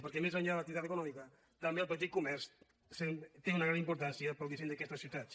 per·què més enllà de l’activitat econòmica també el pe·tit comerç té una gran importància per al disseny d’aquestes ciutats